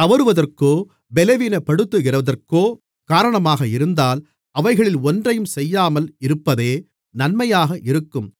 தவறுவதற்கோ பலவீனப்படுகிறதற்கோ காரணமாக இருந்தால் அவைகளில் ஒன்றையும் செய்யாமல் இருப்பதே நன்மையாக இருக்கும்